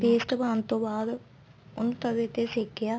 ਤੇ paste ਪਾਣ ਤੋਂ ਬਾਅਦ ਉਹਨੂੰ ਤਵੇ ਤੇ ਸੇਕਿਆ